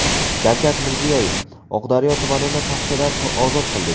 Shavkat Mirziyoyev: Oqdaryo tumanini paxtadan ozod qildik.